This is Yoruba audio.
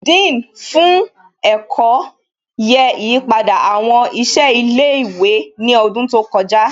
Dean fún ẹ̀kọ́ yẹ ìyípadà àwọn ìṣe ilé ìwé ní ọdún tó kọjá